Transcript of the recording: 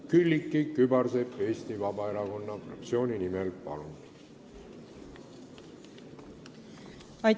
Külliki Kübarsepp Eesti Vabaerakonna fraktsiooni nimel, palun!